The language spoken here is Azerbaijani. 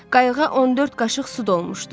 Qayığa 14 qaşıq su dolmuşdu.